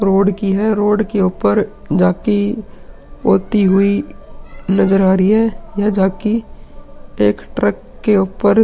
Road की है। Road के ऊपर झांकी होती हुई नजर आ रही है। यह झांकी एक ट्रक के ऊपर --